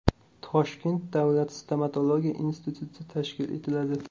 Toshkent davlat stomatologiya instituti tashkil etiladi.